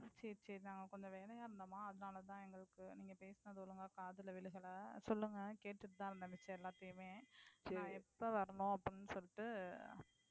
சரி சரி நாங்க கொஞ்சம் வேலையா இருந்தோமா அதுனாலதான் நீங்க பேசினது ஒழுங்கா காதில விழுகள. சொல்லுங்க கேட்டுட்டுதான் இருந்தேன் மிச்சம் எல்லாத்தையுமே. நான் எப்போ வரணும்னு அப்படினு சொல்லிட்டு